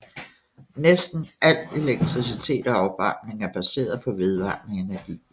Næsten al elektricitet og opvarmning er baseret på vedvarende energi